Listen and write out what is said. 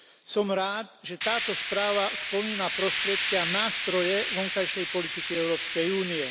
Som rád, že táto správa spomína prostriedky a nástroje vonkajšej politiky Európskej únie.